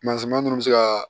ninnu bɛ se ka